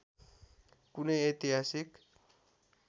कुनै ऐतिहासिक